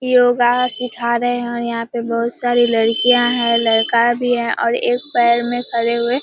योगा सिखा रहें हैं। यहाँ पे बहुत सारी लड़कियाँ हैं लड़का भी है और एक पैर में खड़े हुए --